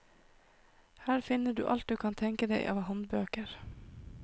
Her finner du alt du kan tenke deg av håndbøker.